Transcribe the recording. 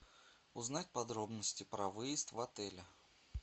узнать подробности про выезд в отеле